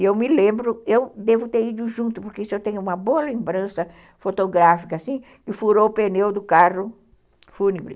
Eu me lembro, eu devo ter ido junto, porque isso eu tenho uma boa lembrança fotográfica, assim, que furou o pneu do carro fúnebre.